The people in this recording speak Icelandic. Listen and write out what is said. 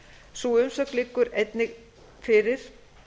sú umsögn liggur einnig fyrir